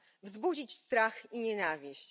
Wzbudzić strach i nienawiść.